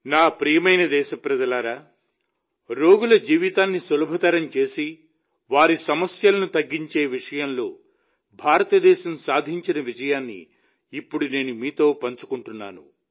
నా ప్రియమైన దేశప్రజలారా రోగుల జీవితాన్ని సులభతరం చేసి వారి సమస్యలను తగ్గించే విషయంలో భారతదేశం సాధించిన విజయాన్ని ఇప్పుడు నేను మీతో పంచుకుంటున్నాను